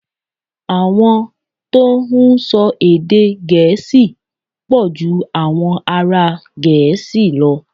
Àwọn tó ń sọ èdè Gẹ̀ẹ́sì pọ̀ ju àwọn ará Gẹ̀ẹ́sì lọ.